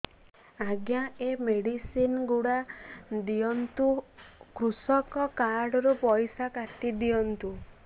ଆଜ୍ଞା ଏ ମେଡିସିନ ଗୁଡା ଦିଅନ୍ତୁ କୃଷକ କାର୍ଡ ରୁ ପଇସା କାଟିଦିଅନ୍ତୁ